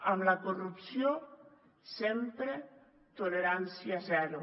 amb la corrupció sempre tolerància zero